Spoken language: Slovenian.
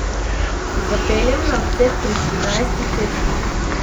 Zapeljem na odcep pri Trinajsti cesti.